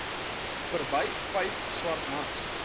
verby vyf swartmans